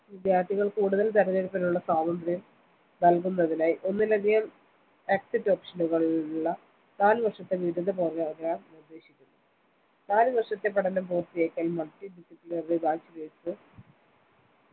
വിദ്യാർത്ഥികൾക്ക് കൂടുതൽ തിരഞ്ഞെടുപ്പിനുള്ള സ്വാതന്ത്ര്യം നൽകുന്നതിനായി ഒന്നിലധികം exit option കളുള്ള നാല് വർഷത്തെ ബിരുദ program നിർദ്ദേശിക്കുന്നു നാല് വർഷത്തെ പഠനം പൂർത്തിയാക്കിയാൽ multi disciplinary bachelors